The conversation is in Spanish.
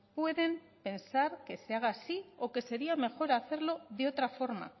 pueden pensar que sea haga así o que sería mejor hacerlo de otra forma